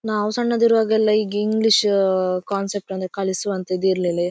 ನಾವು ಸಣ್ಣದು ಇರುವಾಗ ಎಲ್ಲ ಈ ಇಂಗ್ಲಿಷ್ ಕಾನ್ಸೆಪ್ಟ್ ಅಂದ್ರೆ ಕಲಿಸುವಂತಹದ್ದು ಇರ್ಲಿಲ್ಲ ಇ---